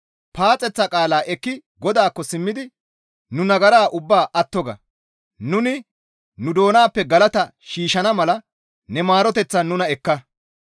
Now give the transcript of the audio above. Paaxeththa qaala ekki GODAAKKO simmidi, «Nu nagara ubbaa atto ga; nuni nu doonappe galata shiishshana mala ne maaroteththan nuna ekka.